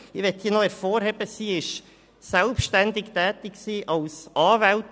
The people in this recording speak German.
Ich möchte an dieser Stelle noch hervorheben, dass sie als Anwältin selbstständig tätig gewesen ist.